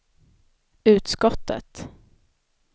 utskottet